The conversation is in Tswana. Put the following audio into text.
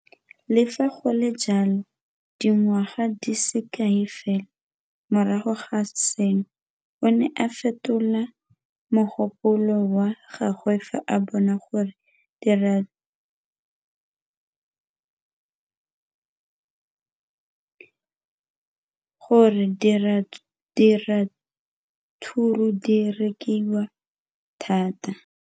Le fa go le jalo, dingwaga di se kae fela morago ga seno, o ne a fetola mogopolo wa gagwe fa a bona gore diratsuru di rekisiwa thata.